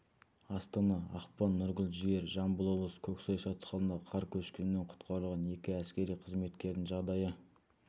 астана ақпан нұргүл жігер жамбыл облысы көксай шатқалында қар көшкінінен құтқарылған екі әскери қызметкердің жағдайы